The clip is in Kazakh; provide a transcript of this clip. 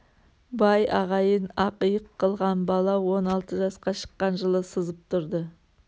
бай ағайын ақ иық қылған бала он алты жасқа шыққан жылы сызып тұрды